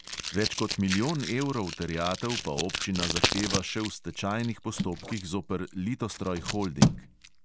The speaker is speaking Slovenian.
Več kot milijon evrov terjatev pa občina zahteva še v stečajnih postopkih zoper litostroj holding.